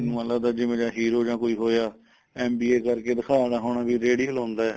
ਮੈਨੂੰ ਲਗਦਾ ਜਿਵੇ ਜਾ ਹੀਰੋ ਜਾਂ ਕੋਈ ਹੋਇਆ MBA ਕਰਕੇ ਦਿਖਾਉਂਦਾ ਹੋਣਾ ਵੀ ਰੇੜੀ ਲਾਉਂਦਾ